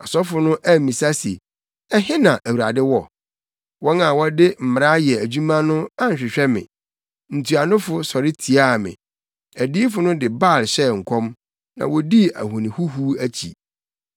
Asɔfo no ammisa se, ‘Ɛhe na Awurade wɔ?’ Wɔn a wɔde mmara yɛ adwuma no anhwehwɛ me; ntuanofo sɔre tiaa me. Adiyifo no de Baal hyɛɛ nkɔm, na wodii ahoni huhuw akyi.